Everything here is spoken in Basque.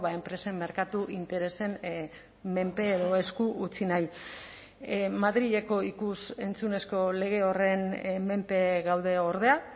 enpresen merkatu interesen menpe edo esku utzi nahi madrileko ikus entzunezko lege horren menpe gaude ordea